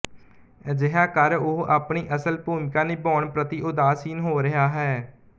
ਅਜਿਹਾ ਕਰ ਉਹ ਆਪਣੀ ਅਸਲ ਭੂਮਿਕਾ ਨਿਭਾਉਣ ਪ੍ਰਤੀ ਉਦਾਸੀਨ ਹੋ ਰਿਹਾ ਹੈ